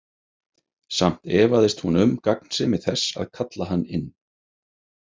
Samt efaðist hún um gagnsemi þess að kalla hann inn.